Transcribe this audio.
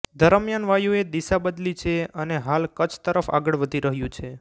દરમિયાન વાયુએ દિશા બદલી છે અને હાલ કચ્છ તરફ આગળ વધી રહ્યું છે